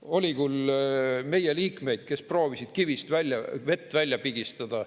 Oli küll meie liikmeid, kes proovisid kivist vett välja pigistada.